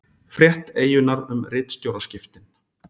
Frétt Eyjunnar um ritstjóraskiptin